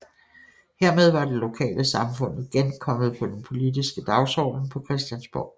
Hermed var det lokale samfund igen kommet på den politiske dagsorden på Christiansborg